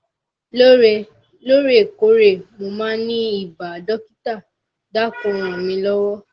lóòrè lóòrè kóòrè mo máa ń ní ibà dọkítà dákùn ràn mí lọwọ